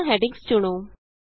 ਸਾਰੀਆਂ ਹੈਡਿੰਗਸ ਚੁਣੋ